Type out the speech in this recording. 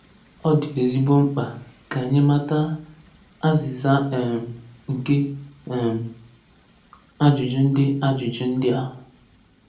Ọ dị ezigbo mkpa ka anyị mata azịza um nke um ajụjụ ndị ajụjụ ndị a.